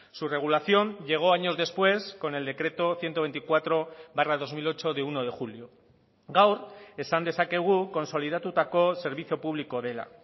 su regulación llegó años después con el decreto ciento veinticuatro barra dos mil ocho de uno de julio gaur esan dezakegu kontsolidatutako zerbitzu publikoa dela